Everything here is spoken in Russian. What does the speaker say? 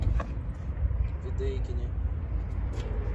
ведейкене